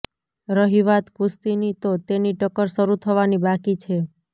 રહી વાત કુશ્તીની તો તેની ટક્કર શરુ થવાની બાકી છે